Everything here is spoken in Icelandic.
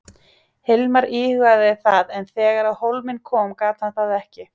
Hilmar íhugaði það en þegar á hólminn kom gat hann það ekki.